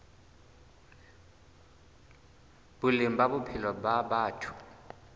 boleng ba bophelo ba batho